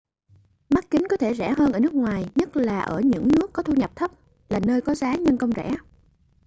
mắt kính có thể rẻ hơn ở nước ngoài nhất là ở những nước có thu nhập thấp là nơi có giá nhân công rẻ